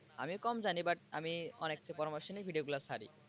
আমি কম জানি but আমি অনেকের পরামর্শ নিয়েই নেই video গুলো ছাড়ি।